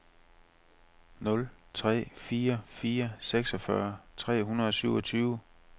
nul tre fire fire seksogfyrre tre hundrede og syvogtyve